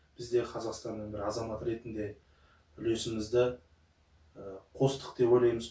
біз де қазақстанның бір азаматы ретінде үлесімізді қостық деп ойлаймыз